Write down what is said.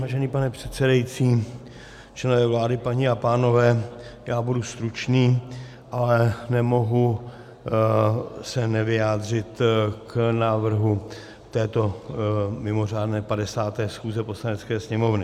Vážený pane předsedající, členové vlády, paní a pánové, já budu stručný, ale nemohu se nevyjádřit k návrhu této mimořádné 50. schůze Poslanecké sněmovny.